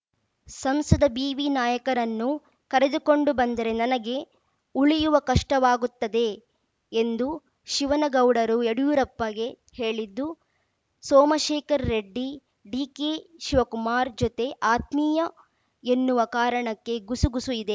ಸಂಸದ ಬಿವಿನಾಯಕರನ್ನು ಕರೆದುಕೊಂಡು ಬಂದರೆ ನನಗೆ ಉಳಿಯುವ ಕಷ್ಟವಾಗುತ್ತದೆ ಎಂದು ಶಿವನಗೌಡರು ಯಡಿಯೂರಪ್ಪಗೆ ಹೇಳಿದ್ದು ಸೋಮಶೇಖರ್‌ ರೆಡ್ಡಿ ಡಿ ಕೆ ಶಿವಕುಮಾರ್‌ ಜೊತೆ ಆತ್ಮೀಯ ಎನ್ನುವ ಕಾರಣಕ್ಕೆ ಗುಸು ಗುಸು ಇದೆ